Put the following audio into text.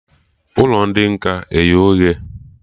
Ụlọ ndị nkà eye oghe?